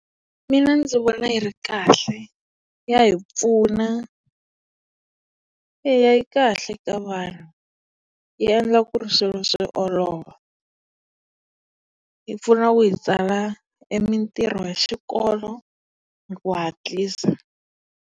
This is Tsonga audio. Mina ndzi vona yi ri kahle, ya hi pfuna, eya yi kahle eka vanhu. Yi endla ku ri swilo swi olova. Yi pfuna ku hi tsala e mitirho ya xikolo hi ku hatlisa.